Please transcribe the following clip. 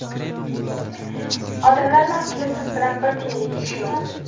Odamlarni aslida siz bilan bir tiyinlik ishi yo‘q.